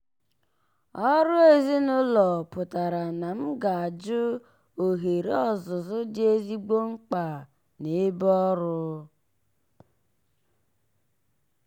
ọrụ ezinụlọ pụtara na m ga-ajụ ohere ọzụzụ dị ezigbo mkpa n'ebe ọrụ.